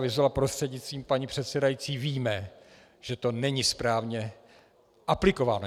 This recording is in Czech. Vyzula prostřednictvím paní předsedající víme, že to není správně aplikováno.